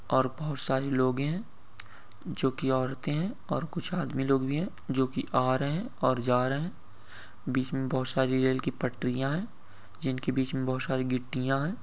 और बहुत सारे लोग हैं जो कि औरतें हैं और कुछ आदमी लोग भी हैं जो कि आ रहे हैं और जा रहे हैं बीच में बहुत सारी रेल की पटरिया हैं| जिनकी बीच में बहुत गिट्टियां हैं।